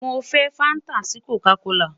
Mo fẹ fanta si Coca kola